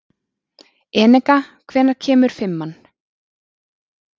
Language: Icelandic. Eneka, hvenær kemur fimman?